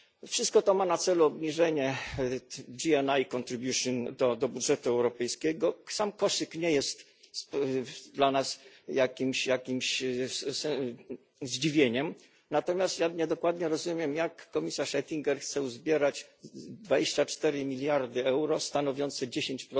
Wszystko to ma na celu obniżenie GNI contribution do budżetu europejskiego. Sam koszyk nie jest dla nas jakimś zdziwieniem, natomiast ja niedokładnie rozumiem, jak komisarz Oettinger chce uzbierać 24 miliardy euro stanowiące 10